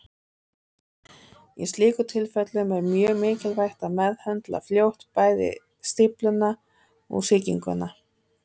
Í slíkum tilfellum er mjög mikilvægt að meðhöndla fljótt bæði stífluna og sýkinguna.